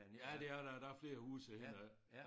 Ja det er der der er flere huse hen ad